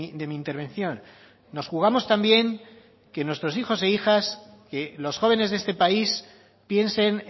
de mi intervención nos jugamos también que nuestros hijos e hijas que los jóvenes de este país piensen